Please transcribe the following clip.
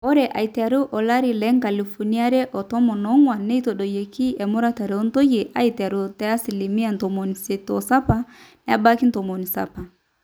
ore aiteru alari loonkalifuni are otomon oong'wan netadoyie emuratare oontoyie aiteru te asilimia 87 nebaiki 70